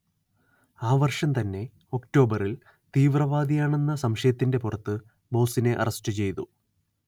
ആ വർഷം തന്നെ ഒക്‌ടോബറിൽ തീവ്രവാദിയാണെന്ന സംശയത്തിന്റെ പുറത്ത് ബോസിനെ അറസ്റ്റ് ചെയ്തു